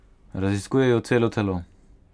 Raziskujejo celo telo.